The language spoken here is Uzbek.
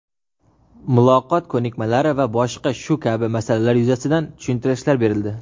muloqot ko‘nikmalari va boshqa shu kabi masalalar yuzasidan tushuntirishlar berildi.